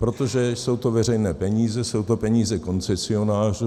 Protože to jsou veřejné peníze, jsou to peníze koncesionářů.